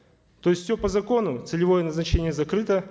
то есть все по закону целевое назначение закрыто